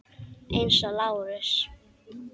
Eins og Lárus.